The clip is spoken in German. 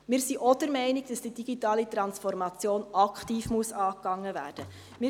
Wir sind auch der Meinung, dass die digitale Transformation aktiv angegangen werden muss.